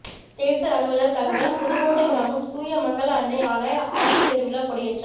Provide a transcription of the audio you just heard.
தேர்தல் அலுவலர் தகவல் புதுக்கோட்டை கிராமம் தூய மங்கள அன்னை ஆலய ஆண்டு பெருவிழா கொடியேற்றம்